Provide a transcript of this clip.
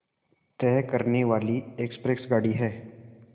तय करने वाली एक्सप्रेस गाड़ी है